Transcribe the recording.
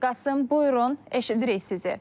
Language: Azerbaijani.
Qasım, buyurun, eşidirik sizi.